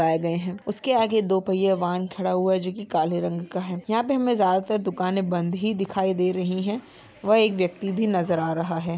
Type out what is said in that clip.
--आ गए हैं उसके आगे दो पहिये वाहन खड़ा हुआ है जो कि काले रंग का है यहाँ पर हमें ज्यादातर दुकानें बंद ही दिखाई दे रही है व एक व्यक्ति भी नजर आ रहा है।